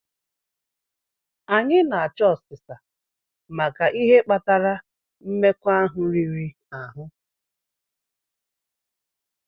Anyị na-achọ ọsisa maka ihe kpatara mmekọahụ riri ahụ.